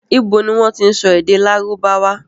Ibo ni wọ́n tí ń sọ èdè lárùbáwá?